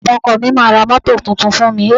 Bàbá ọkọ mi máá ra mọ́tò tuntun fún mi.